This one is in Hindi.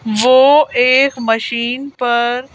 वो एक मशीन पर--